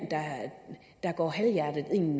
der går halvhjertet ind